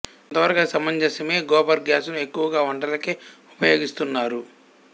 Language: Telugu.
కొంత వరకు అది సమంజసమే గోబర్ గ్యాస్ ను ఎక్కువగా వంటలకే ఉపయోగిస్తున్నారు